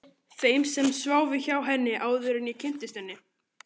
Þeim sem sváfu hjá henni, áður en ég kynntist henni.